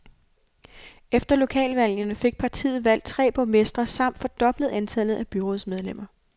Efter lokalvalgene fik partiet valgt tre borgmestre samt fordoblet antallet af byrådsmedlemmer.